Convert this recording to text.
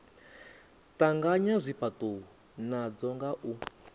tanganya zwifhatuwo nadzo nga u